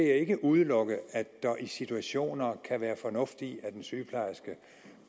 jeg ikke udelukke at der i situationer kan være fornuft i at en sygeplejerske